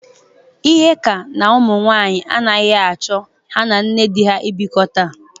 Ihe ka n'ụmụ nwaanyị agaghị achọ ha na nne dị ha ịbịkọta.